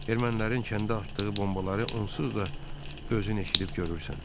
Ermənilərin kəndə atdığı bombaları onsuz da özün eşidib görürsən.